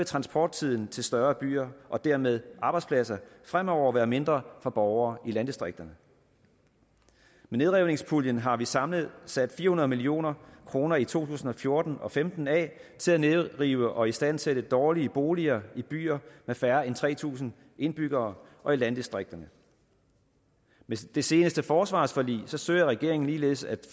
transporttiden til større byer og dermed arbejdspladser fremover være mindre for borgere i landdistrikterne med nedrivningspuljen har vi samlet sat fire hundrede million kroner i to tusind og fjorten og femten af til at nedrive og istandsætte dårlige boliger i byer med færre end tre tusind indbyggere og i landdistrikterne med det seneste forsvarsforlig søger regeringen ligeledes at